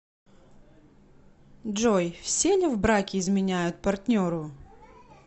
джой все ли в браке изменяют партнеру